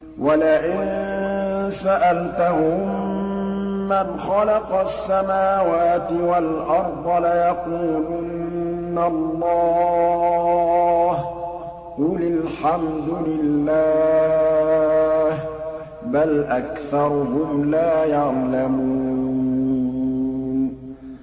وَلَئِن سَأَلْتَهُم مَّنْ خَلَقَ السَّمَاوَاتِ وَالْأَرْضَ لَيَقُولُنَّ اللَّهُ ۚ قُلِ الْحَمْدُ لِلَّهِ ۚ بَلْ أَكْثَرُهُمْ لَا يَعْلَمُونَ